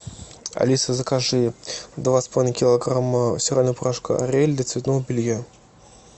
алиса закажи два с половиной килограмма стирального порошка ариэль для цветного белья